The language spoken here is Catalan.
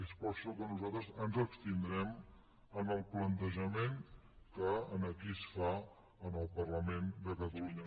és per això que nosaltres ens abstindrem en el plantejament que aquí es fa al parlament de catalunya